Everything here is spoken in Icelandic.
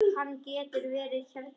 Hann getur verið hérna ennþá.